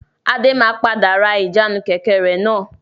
Adé máa padà ra ìjánu Kẹ̀kẹ́ rẹ náà.